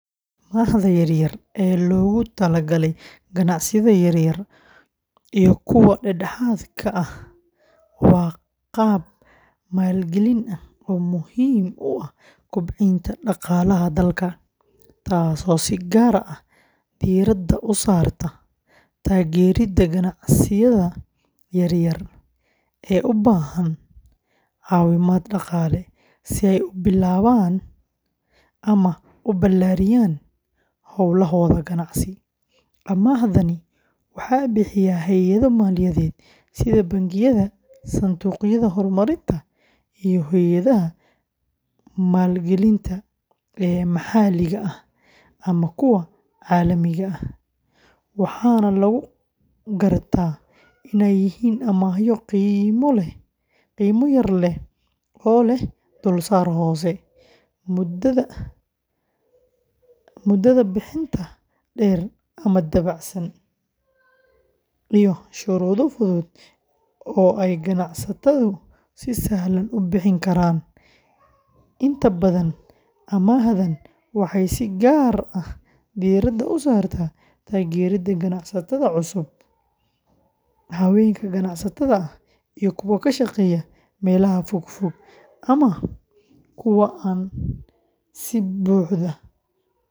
Amaahda yar-yar ee loogu talagalay ganacsiyada yaryar iyo kuwa dhexdhexaadka ah waa qaab maalgelin ah oo muhiim u ah kobcinta dhaqaalaha dalka, taas oo si gaar ah diiradda u saarta taageerida ganacsiyada yaryar ee u baahan caawimaad dhaqaale si ay u bilaabaan ama u ballaariyaan hawlahooda ganacsi; amaahdani waxaa bixiya hay’ado maaliyadeed sida bangiyada, sanduuqyada horumarinta, iyo hay’adaha maalgelinta ee maxalliga ah ama kuwa caalamiga ah, waxaana lagu gartaa inay yihiin amaahyo qiimo yar leh oo leh dulsaarka hoose, muddada bixinta dheer ama dabacsan, iyo shuruudo fudud oo ay ganacsatadu si sahlan u buuxin karaan; inta badan, amaahdan waxay si gaar ah diiradda u saartaa taageerida ganacsatada cusub, haweenka ganacsatada ah, iyo kuwa ka shaqeeya meelaha fogfog ama kuwa aan si buuxda u helin.